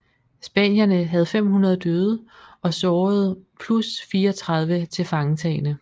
Spanierne havde 500 døde og sårede plus 34 tilfangetagne